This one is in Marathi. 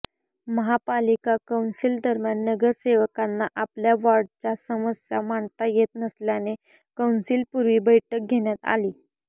महापालिका कौन्सिल दरम्यान नगरसेवकांना आपल्या वॉर्डाच्या समस्या मांडता येत नसल्याने कौन्सिलपूर्वी बैठक घेण्यात आली